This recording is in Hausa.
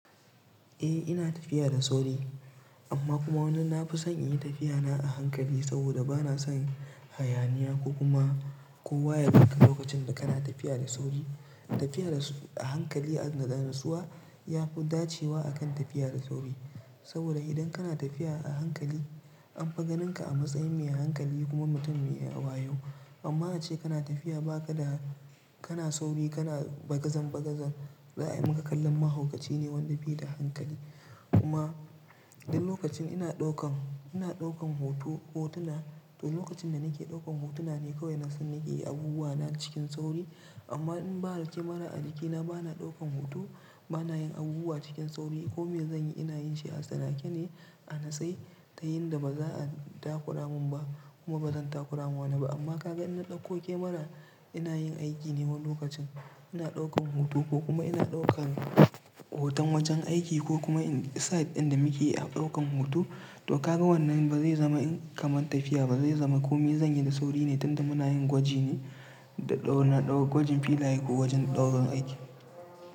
Eh ina tafiya da sauri amma kuma wani na fi son in yi tafiya na a hankali saboda ba na son hayaniya ko kuma kowa ya dinga lokacin da kana tafiya da sauri. Tafiya da a hankali, a natsa, natsuwa ya fi dacewa akan tafiya da sauri saboda idan kana tafiya a hankali an fi ganin ka a matsayin mai hankali kuma mutum mai wayo. Amma ace kana tafiya ba ka da kana sauri kana bagazan bagazan za a yi maka kallon mahaukaci ne wanda bai da hankali. Kuma idan lokacin ina ɗaukan, ina ɗaukan hoto hotuna to lokacin da nake ɗaukan hotuna ne kawai na so na ke yi abubuwa na cikin sauri. Amma in ba da kemara a jikina ba na ɗaukan hoto, ba na yin abubuwa cikin sauri ko me zan yi? Ina yin sha'a sana'a ce ne a natsai ta yin da ba za a takura mun ba kuma ba zan takura ma wane ba. Amma ka ga ina ɗauko kemara ina yin aiki ne wannan lokacin ina ɗaukan hoto ko kuma ina ɗaukan hoton wajen aiki ko kuma site inda nike a ɗaukan hoto to ka ga wannan ba zai zama kamar tafiya ba zai zama komi zan yi da sauri ne tunda muna yin gwaji ne da ɗaura, na ɗaura gwajin filaye ko wajen ɗaurin aiki.